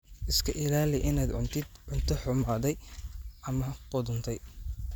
Iska ilaali inaad cuntid cunto xumaaday ama qudhuntay.